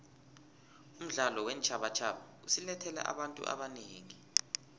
umdlalo weentjhabatjhaba usilethele abantu abanengi